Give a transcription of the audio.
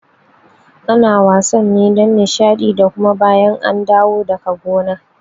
Ana wasan ne don Nishaɗi da kuma bayan an dawo daga gona